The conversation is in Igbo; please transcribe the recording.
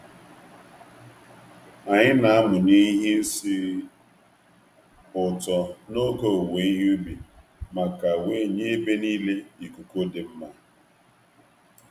Anyï na-amụnye ihe isi ụtọ n'oge owuwe ihe ubi maka wee nye ebe niile ikuku dị mma